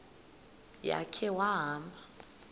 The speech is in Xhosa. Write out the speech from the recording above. ya khe wahamba